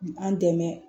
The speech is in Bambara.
An dɛmɛ